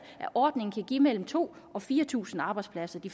at ordningen kan give mellem to og fire tusind arbejdspladser i